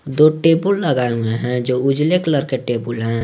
दो टेबुल लगाए हुए हैं जो उजले कलर के टेबुल है।